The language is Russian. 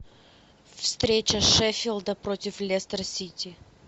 встреча шеффилда против лестер сити